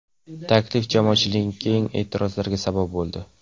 Taklif jamoatchilikning keng e’tirozlariga sabab bo‘ldi.